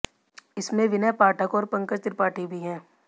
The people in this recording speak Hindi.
इसमें विनय पाठक और पंकज त्रिपाठी भी हैं